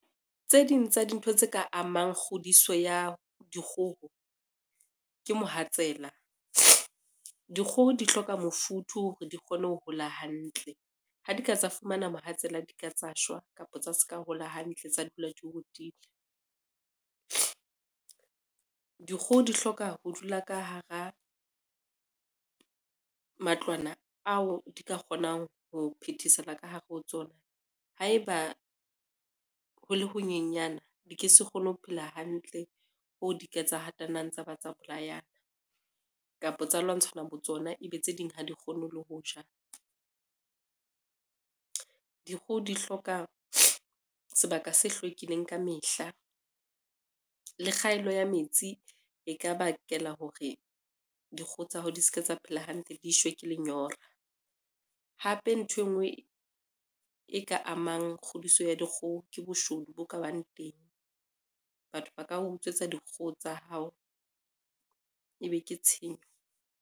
Tse ding tsa dintho tse ka amang kgodiso ya dikgoho, ke mohatsela. Dikgoho di hloka mofuthu hore di kgone ho hola hantle, ha di ka tsa fumana mohatsela di ka tsa shwa kapa tsa ska hola hantle tsa dula di otile. Dikgoho di hloka ho dula ka hara matlwana ao di ka kgonang ho phethesela ka hare ho tsona, haeba ho le ho nyenyana di ke se kgone ho phela hantle, hoo di ke tsa hatanang tsa ba tsa bolayana kapo tsa lwantshana botsona e be tse ding ha di kgone le ho ja. Dikgoho di hloka sebaka se hlwekileng ka mehla, le kgaello ya metsi e ka bakela hore dikgoho tsa hao di se ke tsa phela hantle di shwe ke lenyora, hape nthwe ngwe e ka amang kgodiso ya dikgoho ke boshodu bo ka bang teng, batho ba ka utswetsa dikgoho tsa hao e be ke tshenyo.